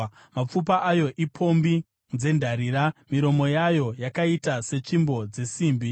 Mapfupa ayo ipombi dzendarira, miromo yayo yakaita setsvimbo dzesimbi.